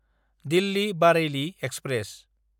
दिल्ली–बारेइलि express